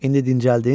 İndi dincəldin?